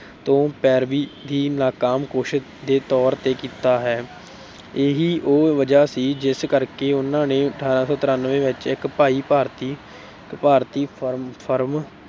ਤੋਂ ਪੈਰਵੀ ਦੀ ਨਾਕਾਮ ਕੋਸ਼ਿਸ਼ ਦੇ ਤੌਰ ਤੇ ਕੀਤਾ ਹੈ। ਇਹੀ ਉਹ ਵਜ੍ਹਾ ਸੀ ਜਿਸ ਕਰਕੇ ਉਨ੍ਹਾਂ ਨੇ ਅਠਾਰਾਂ ਸੌ ਤਰਾਨਵੇਂ ਵਿੱਚ ਇੱਕ ਭਾਰਤੀ firm